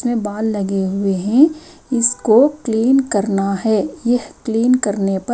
इसमें बाल लगे हुए हैं इसको क्लीन करना है यह क्लीन करने पर--